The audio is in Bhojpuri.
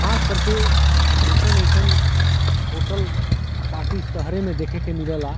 खास करके एसन- एसन होटल पार्टी शहरे मे देखे ला मिलेला।